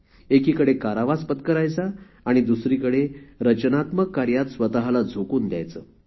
एकीकडे कारावास पत्करायचा आणि दुसरीकडे रचनात्मक कार्यात स्वतला झोकून द्यायचे